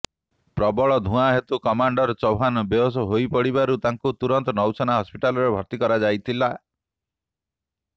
ପ୍ରବଳ ଧୁଆଁ ହେତୁ କମାଣ୍ଡର ଚୌହାନ ବେହୋସ୍ ହୋଇପଡ଼ିବାରୁ ତାଙ୍କୁ ତୁରନ୍ତ ନୌସେନା ହସ୍ପିଟାଲରେ ଭର୍ତ୍ତି କରାଯାଇଥିଲେ